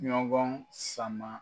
Ɲɔgɔn sama.